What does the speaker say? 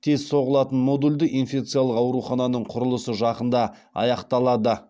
тез соғылатын модульді инфекциялық аурухананың құрылысы жақында аяқталады